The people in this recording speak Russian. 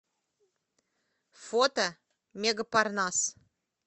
фото мега парнас